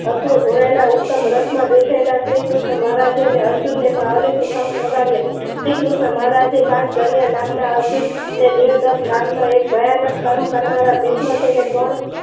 અસુરો ઢોળાયેલા ઉત્તમ રસ માં બેઠેલા શ્રી કૃષ્ન મહારાજ એ અર્જુન ને પણ શંખ વગાડ્યો શ્રી કૃષ્ન મહારાજે પાંચ જન્ય નામના ને દેવદત્ત નામ ના એક ત્રણ